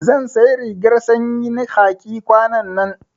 Zan sayi rigar sanyi na khaki kwanannan